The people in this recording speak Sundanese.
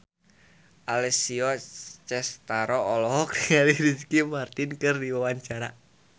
Alessia Cestaro olohok ningali Ricky Martin keur diwawancara